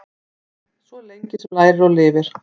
Svo lengi lærir sem lifir.